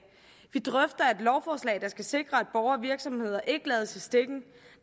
vi drøfter et lovforslag der skal sikre at borgere og virksomheder ikke lades i stikken